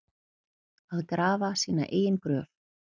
Að grafa sína eigin gröf